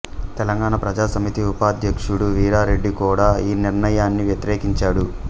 తెలంగాణ ప్రజా సమితి ఉపాధ్యక్షుడు వీరారెడ్డి కూడా ఈ నిర్ణయాన్ని వ్యతిరేకించాడు